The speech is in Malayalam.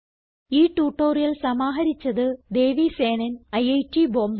ഈ ട്യൂട്ടോറിയൽ സമാഹരിച്ചത് ദേവി സേനൻ ഐറ്റ് ബോംബേ